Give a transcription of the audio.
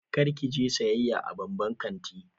Kar ki je sayayya a babban kanti.